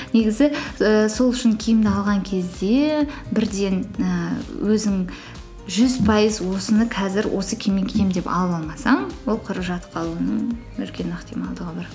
негізі і сол үшін киімді алған кезде бірден ііі өзің жүз пайыз осыны қазір осы киіммен киемін деп алып алмасаң ол құры жатып қалудың үлкен ықтималдығы бар